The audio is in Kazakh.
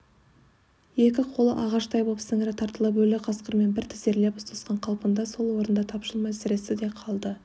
екі қолы ағаштай боп сіңірі тартылып өлі қасқырмен бір тізерлеп ұстасқан қалпында сол орында тапжылмай сіресті де қалды